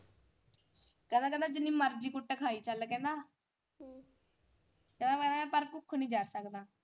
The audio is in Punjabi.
ਕਹਿੰਦਾ ਕਹਿੰਦਾ ਜਿੰਨੀ ਮਰਜੀ ਕੁੱਟ ਖਾਈ ਚੱਲ ਕਹਿੰਦਾ ਕਹਿੰਦਾ ਮੈਂ ਪਰ ਭੁੱਖ ਨਹੀਂ ਜਰ ਸਕਦਾ।